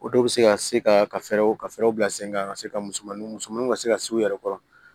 O dɔw bɛ se ka se ka fɛɛrɛw ka fɛɛrɛw bila sen kan ka se ka musomaninw misɛnmaninw ka se ka se u yɛrɛ kɔrɔ